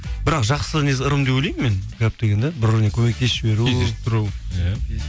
бірақ жақсы ырым деп ойлаймын мен гәп деген де бірбіріне көмектесіп жіберу кездесіп тұру иә